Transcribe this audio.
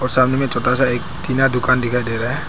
और सामने में छोटा सा एक टीना दुकान दिखाई दे रहा है।